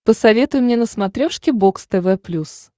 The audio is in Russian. посоветуй мне на смотрешке бокс тв плюс